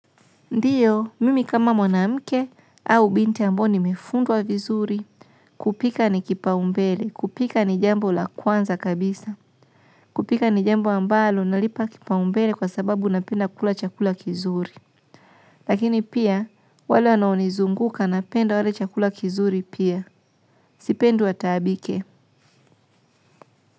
Ndiyo, mimi kama mwanamke au binti ambao nimefundwa vizuri, kupika ni kipaumbele, kupika ni jambo la kwanza kabisa. Kupika ni jambo ambalo, nalipa kipaumbele kwa sababu napenda kula chakula kizuri. Lakini pia, wale wanaonizunguka napenda wale chakula kizuri pia. Sipendi wataabike.